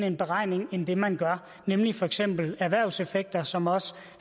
en beregning end det man gør nemlig for eksempel erhvervseffekter som også